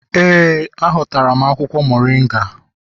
Ee, hotara m akwụkwọ moringa